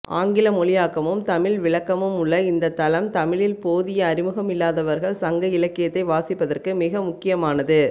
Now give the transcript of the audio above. ஆங்கிலமொழியாக்கமும் தமிழ் விளக்கமும் உள்ள இந்த தளம் தமிழில் போதிய அறிமுகமில்லாதவர்கள் சங்க இலக்கியத்தை வாசிப்பதற்கு மிகமுக்கியமானது